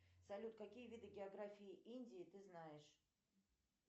салют какие виды географии индии ты знаешь